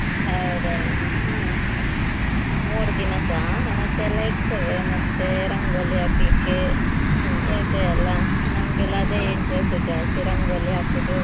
ಹೌದ್ ಹೌದು. ಹಾ ಮೂರ್ ದಿನಸಾ ಹಣತೆ ಎಲ್ಲಾ ಇಡ್ತೇವೆ ಮತ್ತೆ ರಂಗೋಲಿ ಹಾಕ್ಲಿಕ್ಕೆ ಇದೆಯೆಲಾ ನಮ್ಗೆಲ್ಲಾ ಅದೇ interest ಜಾಸ್ತಿ ರಂಗೋಲಿ ಹಾಕೋದು.